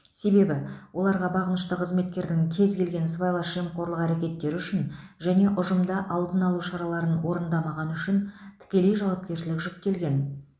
себебі оларға бағынышты қызметкердің кез келген сыбайлас жемқорлық әрекеттері үшін және ұжымда алдын алу шараларын орындамағаны үшін тікелей жауапкершілік жүктелген